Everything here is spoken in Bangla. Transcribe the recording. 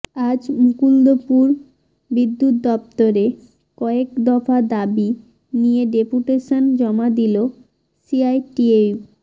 আজ মুকুন্দপুর বিদ্যুৎ দপ্তরে কয়েকদফা দাবি নিয়ে ডেপুটেশন জমা দিল সিআইটিইউ